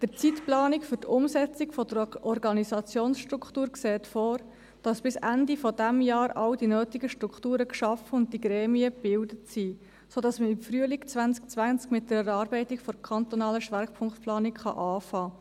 Der Zeitplan für die Umsetzung der Organisationsstruktur sieht vor, dass bis Ende dieses Jahres alle nötigen Strukturen geschaffen und die Gremien gebildet sind, sodass man im Frühjahr 2020 mit der Erarbeitung der kantonalen Schwerpunktplanung beginnen kann.